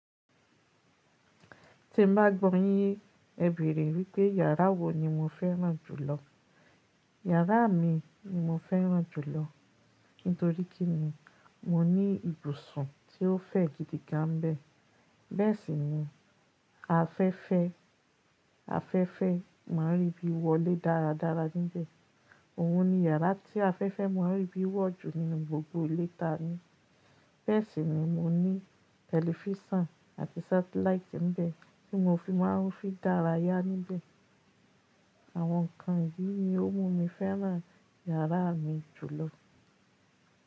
Ti n bá gbọyìn ẹ bèrè wípé yàrá wo ni mo fẹ́ràn jùlọ. Yàrá mi ni mo fẹ́ràn jùlọ, nítorí kí ni, mo ní ibùsùn tí ó fẹ̀ gidi gan bẹ́ẹ̀. Bẹ́ẹ̀ sì ni afẹ́fẹ́, afẹ́fẹ́ máa n rí bí wọlé dáradára níbẹ̀. Òhun ni yàrá tí afẹ́fẹ́ máa n rí bí wọ̀ jù nínú gbogbo ilé ta ní. Bẹ́ẹ̀ sì ni mo ní tẹlifísàn àti sátẹláìtì níbẹ̀ tí mo fi máa n fí dáráyà níbẹ̀. Àwọn nǹkan yìí ni ó mú mi fẹ́ràn yàrá mi jùlọ.